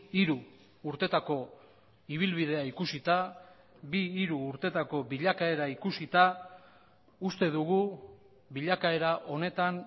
hiru urtetako ibilbidea ikusita bi hiru urtetako bilakaera ikusita uste dugu bilakaera honetan